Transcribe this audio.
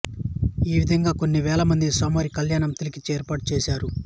ఈవిదంగా కొన్ని వేలమంది స్వామివారి కళ్యాణము తిలకించే ఏర్పాటు చేసారు